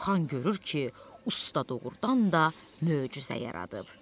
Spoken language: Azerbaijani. Xan görür ki, usta doğurdan da möcüzə yaradıb.